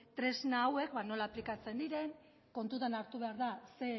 tresna hauek ba nola aplikatzen diren kontutan hartu behar da zein